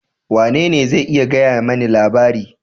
Wanene zai iya gaya mani menene labari?